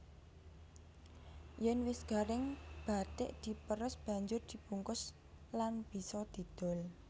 Yèn wis garing bathik diprès banjur dibungkus lan bisa didol